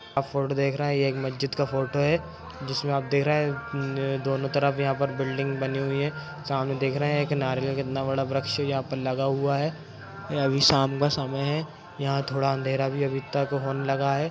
आप फोटो देख रहे है ये मज्जिद का फोटो है जिसमे आप देख रहे है दोनों तरफ यहाँ पर बिल्डिंग बनी हुई है सामने देख रहे है सामने एक नारियल का कितना बड़ा एक वरक्ष यहाँ पर लगा हुआ है अभी शाम का समय है यहाँ थोरा अँधेरा भी अभी तक होने लगा है।